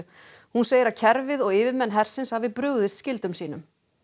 hún segir að kerfið og yfirmenn hersins hafi brugðist skyldum sínum